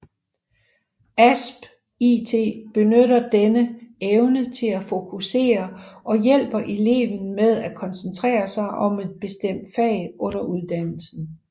AspIT benytter denne evne til at fokusere og hjælper eleven med at koncentrere sig om et bestemt fag under uddannelsen